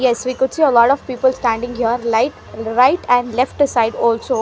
Yes we could see a lot of people standing here like right and left side also.